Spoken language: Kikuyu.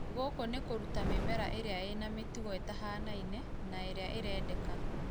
Gũkũ nĩ kũruta mĩmera ĩrĩa ĩna mĩtugo ĩtahanaine na ĩrĩa ĩrendeka